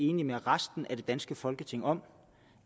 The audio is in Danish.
enig med resten af det danske folketing om